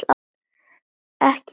Ekki öryggi.